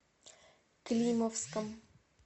климовском